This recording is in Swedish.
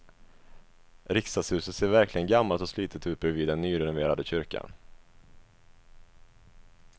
Riksdagshuset ser verkligen gammalt och slitet ut bredvid den nyrenoverade kyrkan.